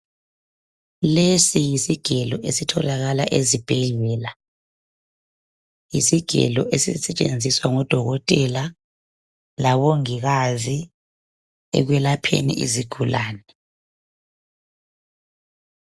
Lesi yisigelo esitholakala ezibhedlela, isigelo esisetshenziswa ngodokotela labongikazi ekwelapheni izigulani.